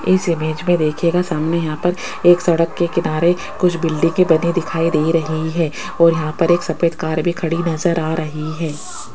इस इमेज में देखियेगा सामने यहां पर एक सड़क के किनारे कुछ बिल्डिंगे दिखाई दे रही है और यहां पर एक सफेद कार भी खड़ी नजर आ रही है।